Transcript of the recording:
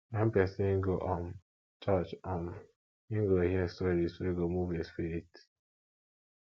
wen pesin go um church um im go hear stories wey go move im spirit